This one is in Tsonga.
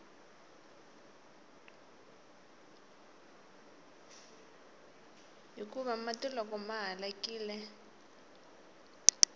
hikuva mati loko ma halakile